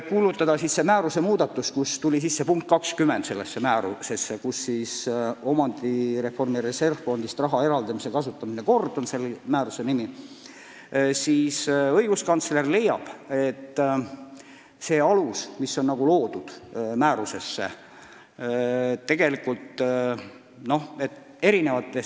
Kõnealusesse määrusesse pandi kirja punkt 20 – "Omandireformi reservfondist raha eraldamise ja kasutamise kord" on selle määruse nimi – ja õiguskantsler leiab, et selle aluse näol on tegu eri seaduste koosmõjuga.